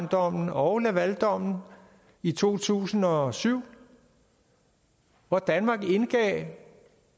dommen og lavaldommen i to tusind og syv hvor danmark indgav